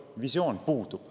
Visioon puudub.